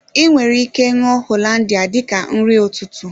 I nwere ike ṅụọ Hollandia dika nri ụtụtụ